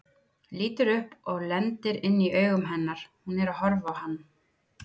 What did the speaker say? Lítur upp og lendir inn í augum hennar, hún er að horfa á hann.